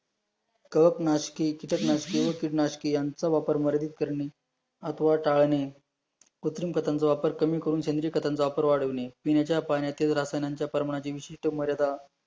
कडक नाशकी कीटकनाशके कीडनाशके यांचा वापर मर्यादित करणे अथवा टाळणे, कृत्रिम खताचा वापर कमी करून सेंद्रिय खतांचा वापर वाढविणे पिण्याच्या पाण्यातील रसायनांच्या पर माजीची विशिष्ट मर्यादा